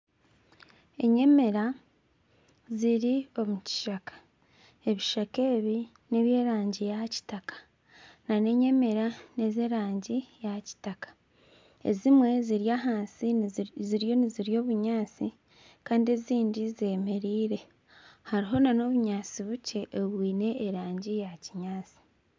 Enyemera ziri omu kishaka ebishaka ebi n''ebyerangi ya kitaka nana enyemera n'ez'erangi ya kitaka ezimwe ziri ahansi ziriyo nizirya obunyaatsi kandi ezindi zemereire hariho nana obunyaatsi bukye obwine erangi eya kinyaatsi